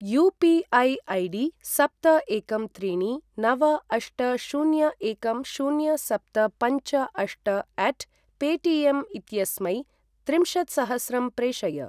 UPI. ID. सप्त एकं त्रीणि नव अष्ट शून्य एकं शून्य सप्त पञ्च अष्ट अट् पेटियम् इत्यस्मै त्रिंशत्सहस्रं प्रेषय।